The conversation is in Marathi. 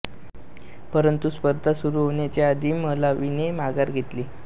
परंतु स्पर्धा सुरू होण्याच्या आधी मलावीने माघार घेतली